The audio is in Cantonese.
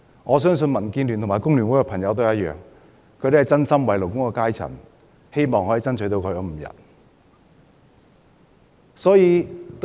我相信民建聯和工聯會的議員也是一樣，是真心為勞工階層，希望可以爭取5天侍產假。